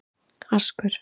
Askur